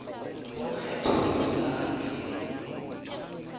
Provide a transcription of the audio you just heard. lokgetho lwa dinaga di sele